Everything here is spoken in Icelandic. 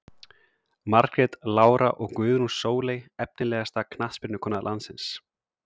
Margrét Lára og Guðrún Sóley Efnilegasta knattspyrnukona landsins?